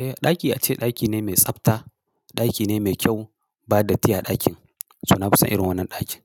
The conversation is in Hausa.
Eh, ɗaki ace ɗaki ne mai tsabta, ɗaki ne mai kyau ba datti a ɗakin. So na fi son irin wannan ɗakin.